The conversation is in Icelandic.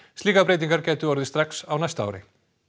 slíkar breytingar gætu orðið strax á næsta ári